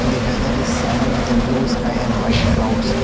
The weather is sunny with a blue sky and white clouds.